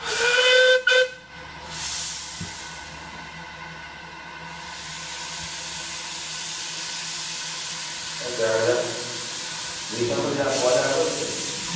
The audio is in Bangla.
দেখা যাক। রিতম তাহলে গোয়া যাবে?